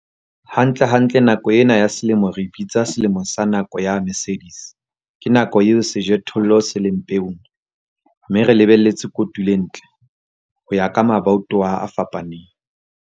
Hantlentle nako ena ya selemo re e bitsa selemo sa nako ya Mercedes- Ke nako eo sejothollo se leng peong, mme re lebelletse kotulo e ntle, ho ya ka mabatowa a fapaneng.